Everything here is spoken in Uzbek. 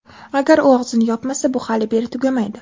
Agar u og‘zini yopmasa, bu hali beri tugamaydi.